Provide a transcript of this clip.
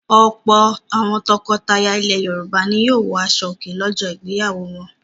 Ọ̀pọ̀ àwọn tọkọtaya ilẹ̀ Yorùbá ni yóò wọ aṣọòkè lọ́jọ́ ìgbéyàwó wọn.